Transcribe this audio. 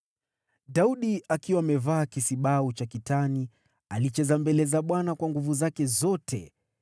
Daudi, akiwa amevaa kisibau cha kitani, alicheza mbele za Bwana kwa nguvu zake zote,